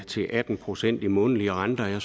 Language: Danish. til atten procent i månedlige renter